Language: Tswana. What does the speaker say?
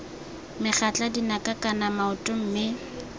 megatla dinaka kana maoto mme